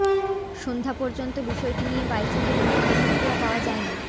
সন্ধ্যা পর্যন্ত বিষয়টি নিয়ে বাইচুংয়ের কোনও প্রতিক্রিয়া পাওয়া যায়নি